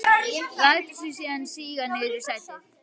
Lætur sig síðan síga niður í sætið.